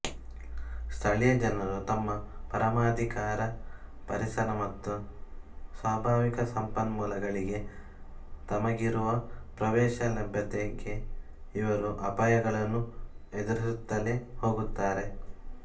ಸ್ಥಳೀಯ ಜನರು ತಮ್ಮ ಪರಮಾಧಿಕಾರ ಪರಿಸರ ಮತ್ತು ಸ್ವಾಭಾವಿಕ ಸಂಪನ್ಮೂಲಗಳಿಗೆ ತಮಗಿರುವ ಪ್ರವೇಶ ಲಭ್ಯತೆಗೆ ಇರುವ ಅಪಾಯಗಳನ್ನು ಎದುರಿಸುತ್ತಲೇ ಹೋಗುತ್ತಾರೆ